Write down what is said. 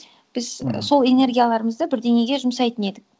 біз мхм сол энергияларымызды бірдеңеге жұмсайтын едік